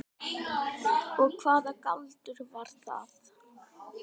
Og hvaða galdur var það?